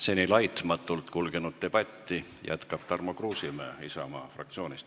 Seni laitmatult kulgenud debatti jätkab Tarmo Kruusimäe Isamaa fraktsioonist.